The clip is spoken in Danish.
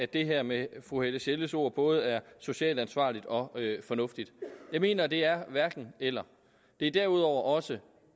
det her med fru helle sjelles ord både er socialt ansvarligt og fornuftigt jeg mener at det er hverken eller det er derudover også